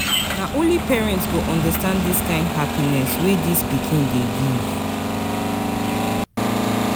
Na only parent go understand dis kain of happiness wey dis pikin dey give.